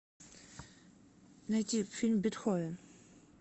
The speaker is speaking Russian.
найти фильм бетховен